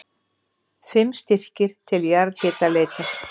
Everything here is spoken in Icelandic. Fimm styrkir til jarðhitaleitar